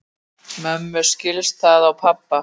Mömmu skildist það á pabba